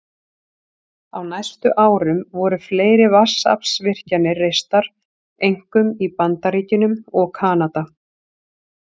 Á næstu árum voru fleiri vatnsaflsvirkjanir reistar, einkum í Bandaríkjunum og Kanada.